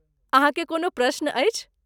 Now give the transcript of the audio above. अहाँकेँ कोनो प्रश्न अछि?